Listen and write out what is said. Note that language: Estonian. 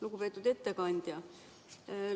Lugupeetud ettekandja!